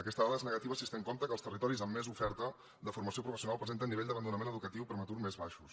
aquesta dada és negativa si es té en compte que els territoris amb més oferta de for·mació professional presenten nivells d’abandonament educatiu prematur més baixos